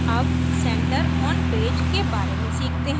अब center on page के बारे में सीखते हैं